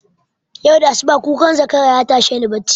Yau da asuba kukan zakara yatashe ni bacci